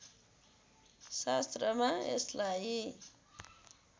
शास्त्रमा यसलाई